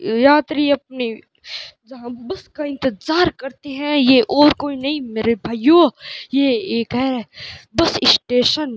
यात्री अपनी जहां बस का इंतजार करते हैं ये और कोई नहीं मेरे भाइयों ये एक है बस स्टेशन ।